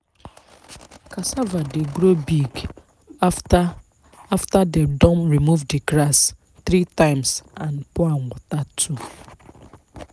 cassava dey grow big after after them don remove the grass three times and pour am water too.